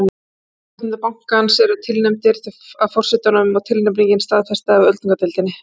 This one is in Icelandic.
æðstu stjórnendur bankans eru tilnefndir af forsetanum og tilnefningin staðfest af öldungadeildinni